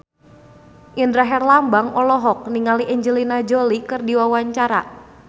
Indra Herlambang olohok ningali Angelina Jolie keur diwawancara